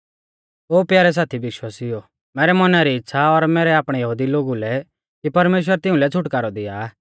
ओ प्यारै साथी विश्वासिउओ मैरै मौना री इच़्छ़ा और मैरै आपणै यहुदी लोगु लै परमेश्‍वरा कु मेरी प्राथना आ कि परमेश्‍वर तिउंलै छ़ुटकारौ दिया